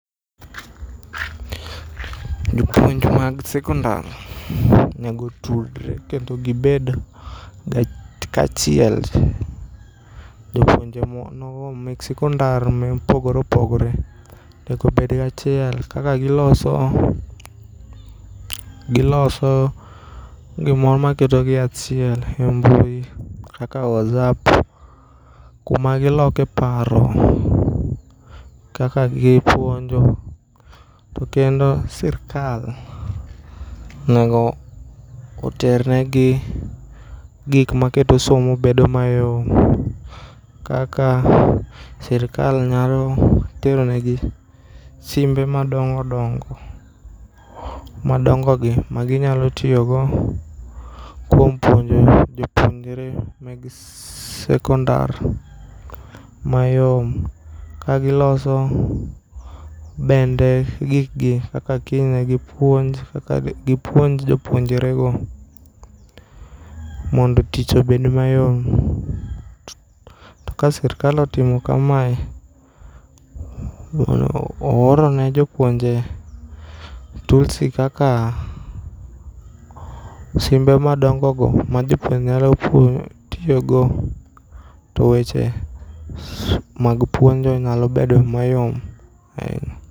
Jopuonj mag sekondar negotudre kendo gibed kachiel. Jopuonje nogo mek sekondar mopogore opogore nego obed gachiel kaka giloso gimoro maketo gi achiel e mbui kaka whatsapp kuma giloke paro kaka gipuonjo to kendo sirkal nego oternegi gik maketo somo bedo mayom kaka siirkal nyalo teronegi simbe madongodongo, madongogi maginyalo tiyogo kuom puonjo jopuonjre meg sekondar mayom kagiloso bende gikgi kaka kiny negipuonj jopuonjrego mondo tich obed mayom .To ka sirkal otimo kamae, oorone jopuonje toolsi kaka simbe madongogo ma jopuonje nyalo tiyogo to weche mag puonjo nyalobedo mayom ainya.